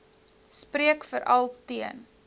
spreek veral teen